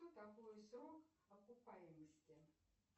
что такое срок окупаемости